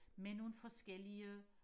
med nogle forskellige